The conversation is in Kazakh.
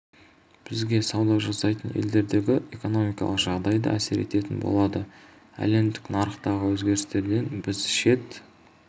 бізге сауда жасайтын елдердегі экономикалық жағдай да әсер ететін болады әлемдік нарықтағы өзгерістерден біз шет